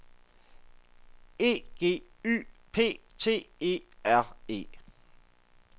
E G Y P T E R E